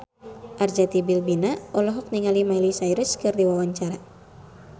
Arzetti Bilbina olohok ningali Miley Cyrus keur diwawancara